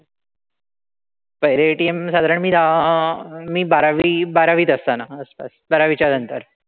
पहिलं ATM साधारण मी अह मी बारावी बारावीत असताना आसपास. बारावीच्या नंतर.